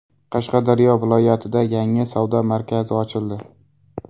Qashqadaryo viloyatida yangi savdo markazi ochildi.